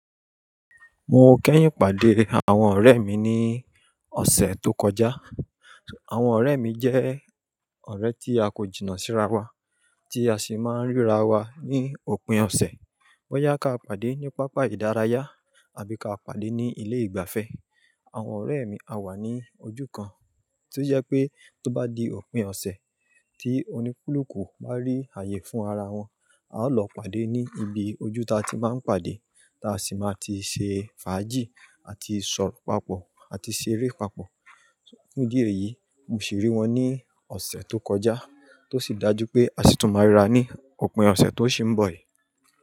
Mo kẹ́yìn pàdé àwọn ọ̀rẹ́ mi ní ọ̀sẹ̀ tó kọjá. Àwọn ọ̀rẹ́ mi jẹ́ ọ̀rẹ́ tí a kò jìnnà síra wa tí a sì máa ń ríra wa ní òpin ọ̀sẹ̀. Boyá ká pàdé ní pápá ìdárayá àbí ká pàdé ní ilé ìgbafẹ́. Àwọn ọ̀rẹ́ mi á wà ní ojú kan, ti ó jẹ́ pé tó bá di òpin ọ̀sẹ̀ tí onílùkù bá rí ààyè fún ara wọn, a ó lọ pàdé ní ibi ojú ta ti máa ń pàdé ta sì máa ti ṣe fàájì àti sọ̀rọ̀ papọ̀ àti ṣeré papọ̀. Fun idi èyí, mo ṣì rí wọn ní ọ̀sẹ̀ tó kọjá tó sì dájú pé a sì tún máa ríra ní òpin ọ̀sẹ̀ tó ṣì ń bọ̀ yìí.